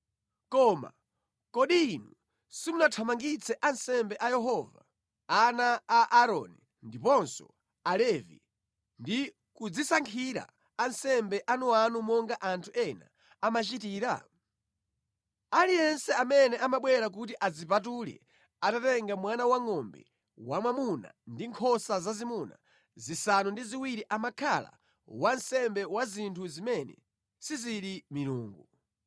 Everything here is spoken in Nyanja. Koma kodi inu simunathamangitse ansembe a Yehova, ana a Aaroni ndiponso Alevi ndi kudzisankhira ansembe anuanu monga anthu ena amachitira? Aliyense amene amabwera kuti adzipatule atatenga mwana wangʼombe wamwamuna ndi nkhosa zazimuna zisanu ndi ziwiri amakhala wansembe wa zinthu zimene sizili milungu.